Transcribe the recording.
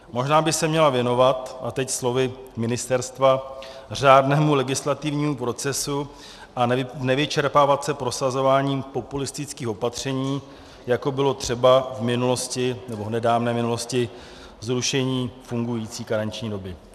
Možná by se měla věnovat, a teď slovy ministerstva, řádnému legislativnímu procesu a nevyčerpávat se prosazováním populistických opatření, jako bylo třeba v nedávné minulosti zrušení fungující karenční doby.